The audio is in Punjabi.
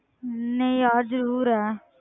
ਨਹੀਂ ਯਾਰ ਜ਼ਰੂਰ ਹੈ।